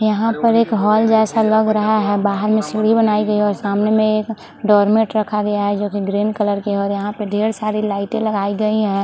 यहाँ पर एक हॉल जैसा लग रहा है बाहर में एक सीढ़ी बनायीं गयी है और सामने में एक डोरमैट रखा गया है जो की ग्रीन कलर का है और यहाँ ठेर सारे लाइट लगाई गई है।